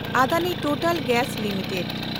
Adani Total Gas limited